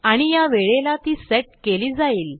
आणि या वेळेला ती सेट केली जाईल